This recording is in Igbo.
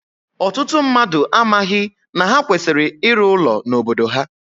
Ọtụtụ mmadụ amaghị na ha kwesịrị ịrụ ụlọ n'obodo ha